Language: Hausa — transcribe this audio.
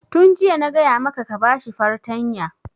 Tun jiya na gaya maka ka ba shi fartanya!